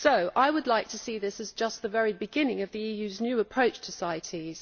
I would like to see this as just the very beginning of the EU's new approach to CITES.